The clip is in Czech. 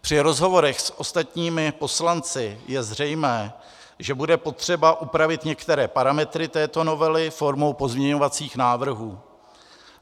Při rozhovorech s ostatními poslanci je zřejmé, že bude potřeba upravit některé parametry této novely formou pozměňovacích návrhů.